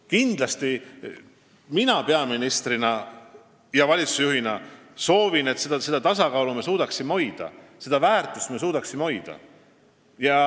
Kindlasti soovin mina peaministrina ja valitsusjuhina, et me suudaksime hoida seda tasakaalu ja väärtust.